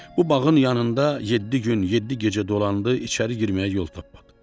Bu bağın yanında yeddi gün yeddi gecə dolandı, içəri girməyə yol tapmadı.